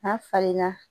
N'a falenna